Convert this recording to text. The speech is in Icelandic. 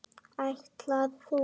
Ætlar þú.?